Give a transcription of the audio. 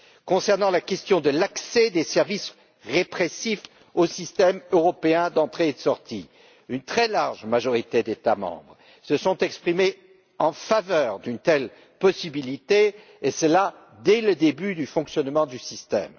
Concernant la question de l'accès des services répressifs au système européen d'entrée sortie, une très large majorité d'États membres s'est exprimée en faveur d'une telle possibilité, et ce dès le début du fonctionnement du système.